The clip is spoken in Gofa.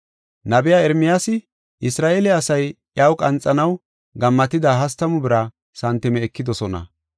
Nabiya Ermiyaasi, “Isra7eele asay iyaw qanxanaw gammatida hastamu bira santime ekidosona.